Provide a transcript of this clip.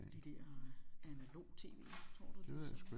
De der analog TV tror du det sådan